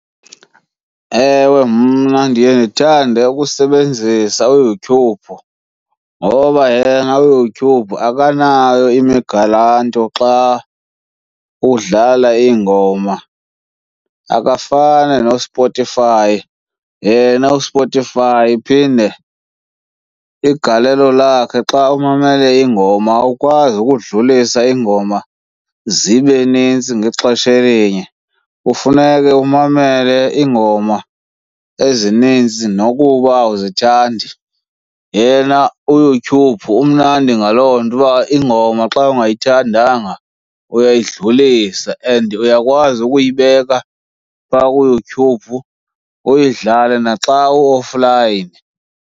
Ewe, mna ndiye ndithande ukusebenzisa uYouTube ngoba yena uYouTube akanayo imigaranto xa udlala iingoma, akafani noSpotify. Yena uSpotify iphinde igalelo lakhe xa umamele iingoma, awukwazi ukudlulisa iingoma zibe nintsi ngexesha elinye, kufuneke umamele iingoma ezininzi nokuba awuzithandi. Yena uYouTube umnandi ngaloo nto uba iingoma xa ungayithandanga, uyayidlulisa and uyakwazi ukuyibeka phaa kuYouTube uyidlale naxa u-offline.